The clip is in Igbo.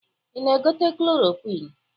Ị na-egote klorokwịn?